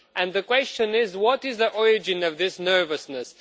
The question is what is the origin of this nervousness?